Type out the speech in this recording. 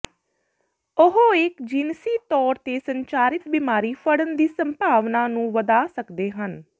ਉਹ ਇੱਕ ਜਿਨਸੀ ਤੌਰ ਤੇ ਸੰਚਾਰਿਤ ਬਿਮਾਰੀ ਫੜਨ ਦੀ ਸੰਭਾਵਨਾ ਨੂੰ ਵਧਾ ਸਕਦੇ ਹਨ